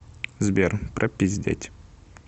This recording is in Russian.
сбер пропиздеть